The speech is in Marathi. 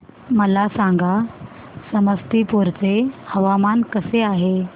मला सांगा समस्तीपुर चे हवामान कसे आहे